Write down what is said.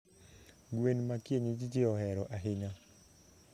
gen ma kienyeji jiohero ahinya